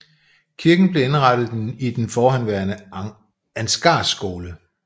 Kirken blev indrettet i den forhenværende Ansgarskole